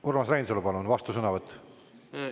Urmas Reinsalu, palun, vastusõnavõtt!